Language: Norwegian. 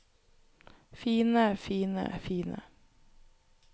fine fine fine